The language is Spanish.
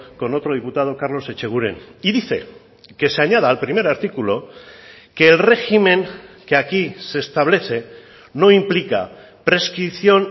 con otro diputado carlos echeguren y dice que se añada al primer artículo que el régimen que aquí se establece no implica prescripción